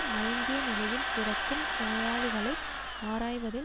மயங்கிய நிலையில் கிடக்கும் நோயாளிகளை ஆராய்வதில்